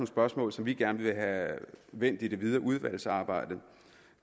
spørgsmål som vi gerne vil have vendt i det videre udvalgsarbejde